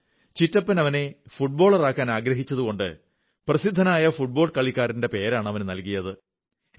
അവന്റെ ചാച്ച അവനെ ഫുട്ബോളറാക്കാനാഗ്രഹിച്ചതുകൊണ്ട് പ്രസിദ്ധനായ ഫുട്ബോൾ കളിക്കാരന്റെ പേരാണ് നല്കിയത്